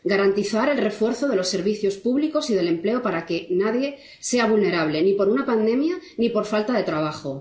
garantizar el refuerzo de los servicios públicos y del empleo para que nadie sea vulnerable ni por una pandemia ni por falta de trabajo